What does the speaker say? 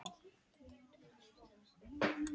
Falleg frænka og litrík.